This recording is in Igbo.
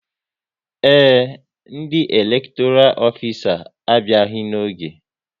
Ee, ndị elektoral ofisa a abịaghị n'oge